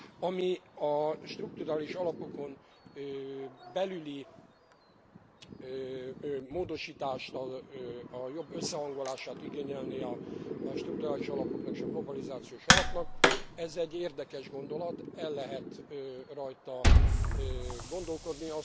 Ami a strukturális alapokon belüli módosítást, a jobb összehangolását igényelné a strukturális alapoknak és a globalizációs alapnak ez egy érdekes gondolat, el lehet rajta gondolkodni.